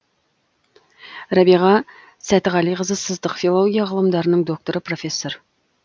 рәбиға сәтіғалиқызы сыздық филология ғылымдарының докторы профессор